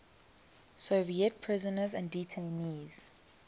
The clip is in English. soviet prisoners and detainees